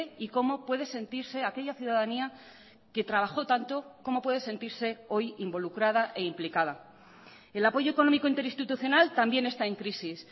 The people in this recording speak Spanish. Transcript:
y cómo puede sentirse aquella ciudadanía que trabajó tanto cómo puede sentirse hoy involucrada e implicada el apoyo económico interinstitucional también está en crisis